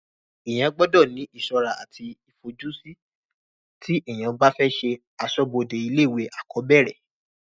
èèyàn gbọdọ̀ ní ìsọ́ra àti ìfojúsí tí èèyàn bá fẹ́ ṣe asọ́bọdè ilé ìwé àkọ́bẹ̀rẹ̀